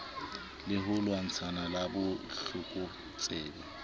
le ho lwantshana le botlokotsebe